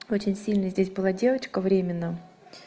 очень сильно здесь была девочка времена